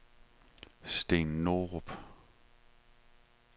Steen Norup